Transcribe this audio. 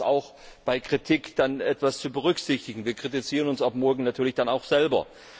Ich bitte, das auch bei Kritik zu berücksichtigen. Wir kritisieren uns ab morgen natürlich dann auch selber.